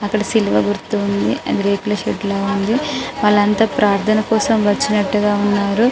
అక్కడ శిలువ గుర్తు ఉంది రేకుల షెడ్ వాళ్ళు అంత ప్రార్థన కోసం వచ్చినట్టుగా ఉన్నారు.